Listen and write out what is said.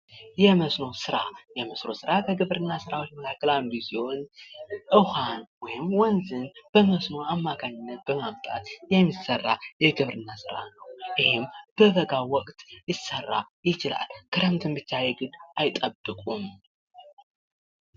የመስኖ ስራ:-የመስኖ ስራ ከግብርና ስራዎች መካከል አንዱ ሲሆን ውሀን ወይም ወንዝን በመስኖ አማካኝነት በማምጣት የሚሰራ የግብርና ስራ ነው። ይኽም በበጋም ወቅት ሊሰራ ይችላል። ክረምትን ብቻ የግድ አይጠብቁም።